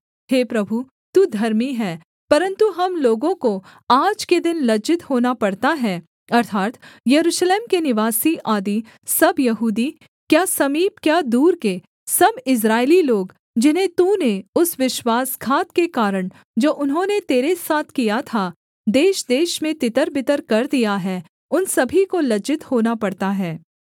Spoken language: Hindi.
हे प्रभु तू धर्मी है परन्तु हम लोगों को आज के दिन लज्जित होना पड़ता है अर्थात् यरूशलेम के निवासी आदि सब यहूदी क्या समीप क्या दूर के सब इस्राएली लोग जिन्हें तूने उस विश्वासघात के कारण जो उन्होंने तेरे साथ किया था देशदेश में तितरबितर कर दिया है उन सभी को लज्जित होना पड़ता है